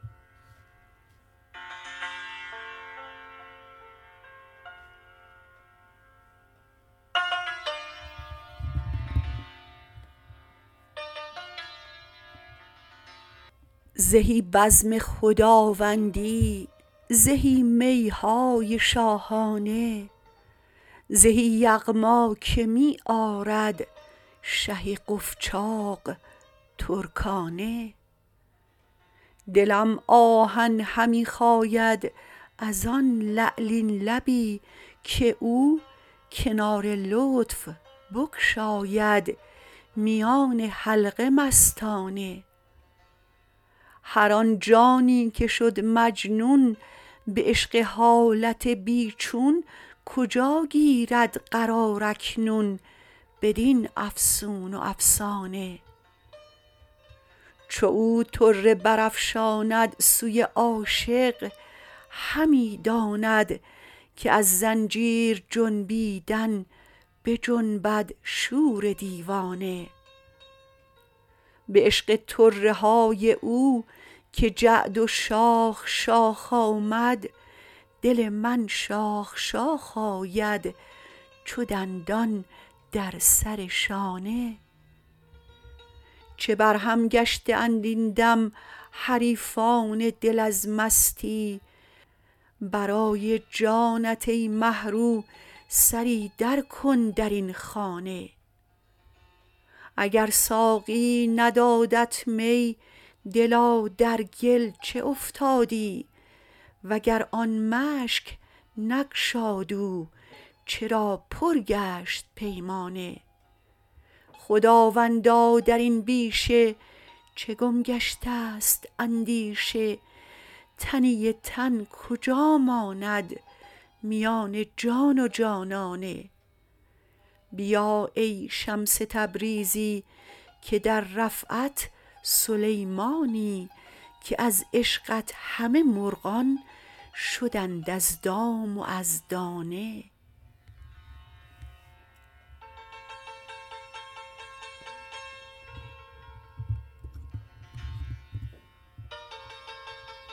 زهی بزم خداوندی زهی می های شاهانه زهی یغما که می آرد شه قفجاق ترکانه دلم آهن همی خاید از آن لعلین لبی که او کنار لطف بگشاید میان حلقه مستانه هر آن جانی که شد مجنون به عشق حالت بی چون کجا گیرد قرار اکنون بدین افسون و افسانه چو او طره برافشاند سوی عاشق همی داند که از زنجیر جنبیدن بجنبد شور دیوانه به عشق طره های او که جعد و شاخ شاخ آمد دل من شاخ شاخ آید چو دندان در سر شانه چه برهم گشته اند این دم حریفان دل از مستی برای جانت ای مه رو سری درکن در این خانه اگر ساقی ندادت می دلا در گل چه افتادی وگر آن مشک نگشاد او چرا پر گشت پیمانه خداوندا در این بیشه چه گم گشته ست اندیشه تنی تن کجا ماند میان جان و جانانه بیا ای شمس تبریزی که در رفعت سلیمانی که از عشقت همه مرغان شدند از دام و از دانه